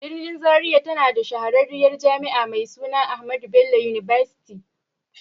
Birnin Zaria tana da shahararriyar Jami'a mai suna AHMADU BELLO UNIVERSITY.